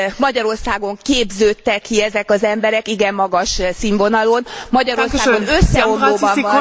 Magyarországon képződtek ki ezek az emberek, igen magas színvonalon, Magyarországon összeomlóban van